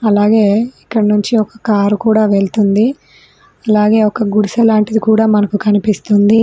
అలాగే ఇక్కడి నుంచి ఒక కారు కూడా వెళ్తుంది అలాగే ఒక గుడిసె లాంటిది కూడా మనకు కనిపిస్తుంది.